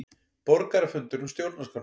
Borgarafundur um stjórnarskrána